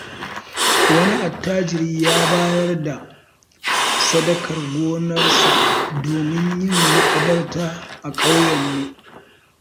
Wani attajiri ya bayar da sadakar gonarsa domin yin maƙabarta a ƙauyenmu.